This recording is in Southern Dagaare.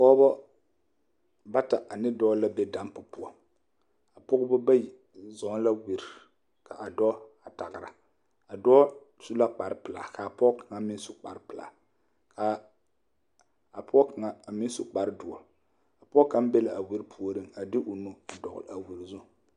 Pɔgebɔ bata ane dɔɔ la be dampo poɔ a pɔgebɔ bayi zɔɔ la wire ka a dɔɔ a tagra a dɔɔ su la kpare pilaa kaa pɔge kaŋ meŋ su kpare pilaa ka a pɔge kaŋa a meŋ su kpare doɔ a pɔge kaŋ be la a wire puoriŋ a de o nu a dɔgl a wire zu.